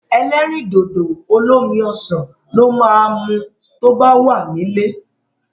Ẹlẹ́rìndòdò olómi ọsàn lo máa mu tó bá wà nílé.